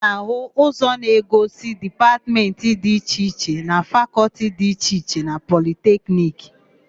A ga-áhụ̀ ozi na-egosi Dipatmentị dị iche iche na Fakọltị dị iche iche na Politekniki.